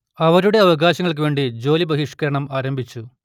അവരുടെ അവകാശങ്ങൾക്കു വേണ്ടി ജോലി ബഹിഷ്കരണം ആരംഭിച്ചു